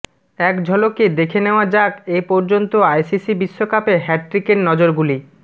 এক ঝলকে দেখে নেওয়া যাক এ পর্যন্ত আইসিসি বিশ্বকাপে হ্যাটট্রিকের নজিরগুলি